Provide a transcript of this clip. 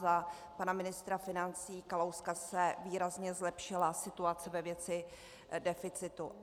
Za pana ministra financí Kalouska se výrazně zlepšila situace ve věci deficitu.